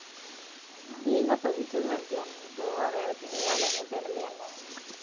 எங்க அப்பா வீட்டுலதான் இருக்கியா போவா வேலைக்கு வேலை எங்கேயும் தேடலையா என்ன